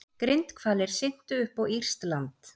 Grindhvalir syntu upp á írskt land